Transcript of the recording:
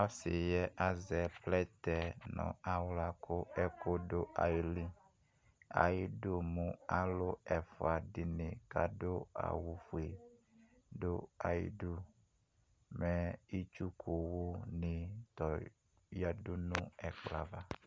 Ɔsi yɛ azɛ plɛtɛ nʋ aɣla kʋ ɛkʋ dʋ ayili ayidʋ mɛ alʋ ɛfʋa dini kʋ adʋ awʋfue dʋ ayʋ idʋ mɛ itsʋkʋwʋ di yadʋnʋ ɛkplɔ ava